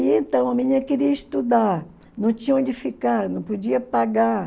E então a menina queria estudar, não tinha onde ficar, não podia pagar.